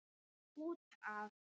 Út af.